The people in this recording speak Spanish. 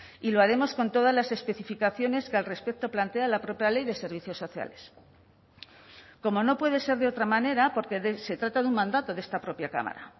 y lo haremos con todas las especificaciones que al respecto plantea la propia ley de servicios sociales como no puede ser de otra manera porque se trata de un mandato de esta propia cámara